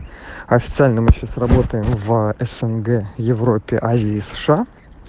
официально мы сейчас работаем в снг европе азии и сша